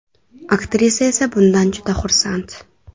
Aktrisa esa bundan juda xursand.